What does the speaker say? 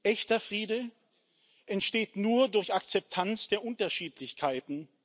Echter Friede entsteht nur durch Akzeptanz der Unterschiedlichkeiten.